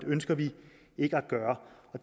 ønsker vi ikke at gøre